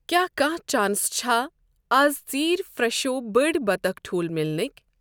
کیٛاہ کانٛہہ چانس چھا لیٹر اَز ژیٖرؠ فرٛٮ۪شو بٔڑۍ بطخ ٹھوٗل مِلنُکھ؟